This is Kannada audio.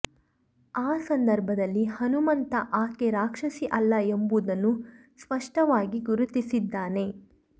ಆ ಸಂದರ್ಭದಲ್ಲಿ ಹನುಮಂತ ಆಕೆ ರಾಕ್ಷಸಿ ಅಲ್ಲ ಎಂಬುದನ್ನು ಸ್ಪಷ್ಟವಾಗಿ ಗುರುತಿಸಿದ್ದಾನೆ